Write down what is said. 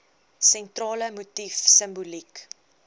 sentrale motief simboliek